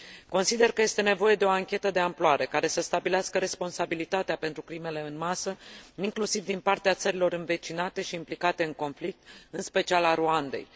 Consider că este nevoie de o anchetă de amploare, care să stabilească responsabilitatea pentru crimele în masă, inclusiv din partea țărilor învecinate și implicate în conflict, în special a Rwandei.